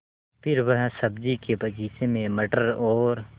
फिर वह सब्ज़ी के बगीचे में मटर और